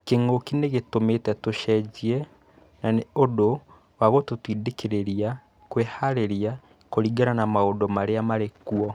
Kïng'ũki nïgĩtũmĩte tũchenjie na Nĩ ũndũ wa gũtũtindĩkĩrĩria kwĩharĩrĩria kũringana na maũndũ marĩa marĩ kuo